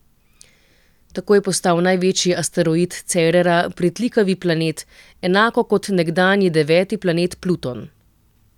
Tako je postal največji asteroid Cerera pritlikavi planet, enako kot nekdanji deveti planet Pluton.